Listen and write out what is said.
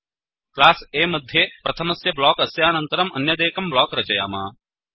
class A मध्ये प्रथमस्य block अस्यानन्तरम् अन्यदेकं ब्लोक् योजयाम